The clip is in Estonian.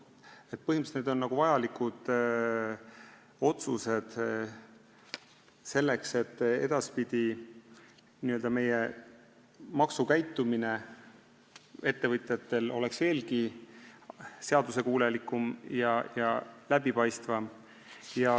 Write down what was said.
Need on põhimõtteliselt vajalikud otsused selleks, et edaspidi oleks meie ettevõtjate maksukäitumine veelgi seaduskuulekam ja läbipaistvam.